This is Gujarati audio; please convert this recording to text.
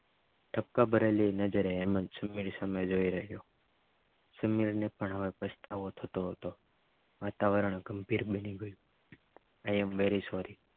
ટપકા ભરેલી નજરે હેમંત સુમીર સામે જોઇ રહ્યો સુમીર ને પણ હવે પસ્તાવો થતો હતો વાતાવરણ ગંભીર બની ગયુ આઈ એમ વેરી સોરી